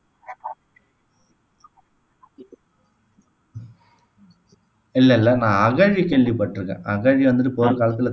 இல்ல இல்ல நான் வந்து அகழி கேள்விப்பட்டிருக்கேன் அகழி வந்துட்டு போர்க்காலத்தில